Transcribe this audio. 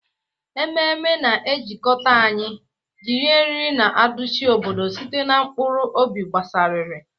Ememe na-ejikọta anyị, jiri eriri na aduchi obodo site na mkpụrụ obi gbasasịrị.